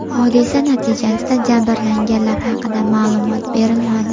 Hodisa natijasida jabrlanganlar haqida ma’lumot berilmadi.